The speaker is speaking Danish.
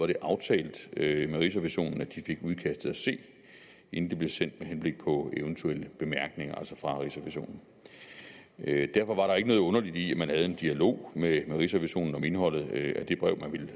det aftalt med rigsrevisionen at de fik udkastet at se inden det blev sendt med henblik på eventuelle bemærkninger fra rigsrevisionen derfor var der ikke noget underligt i at man havde en dialog med rigsrevisionen om indholdet af det brev man ville